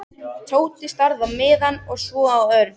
Tóti starði á miðann og svo á Örn.